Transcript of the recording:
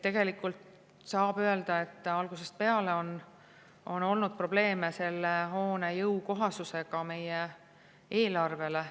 Tegelikult saab öelda, et algusest peale on olnud probleeme selle hoone jõukohasusega meie eelarvele.